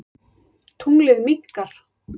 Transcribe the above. Tunglið minnkar.